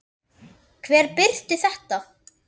Hver birti þetta?